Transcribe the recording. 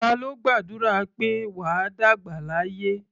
Ta ló gbàdúrà pé "wà á dàgbà láyé"?